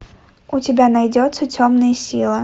у тебя найдется темная сила